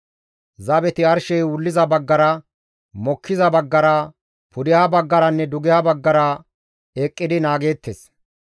Zabeti arshey wulliza baggara, mokkiza baggara, pudeha baggaranne dugeha baggara eqqidi naageettes.